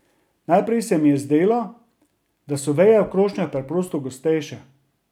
Najprej se mi je zdelo, da so veje v krošnjah preprosto gostejše.